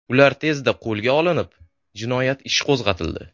Ular tezda qo‘lga olinib, jinoyat ishi qo‘zg‘atildi.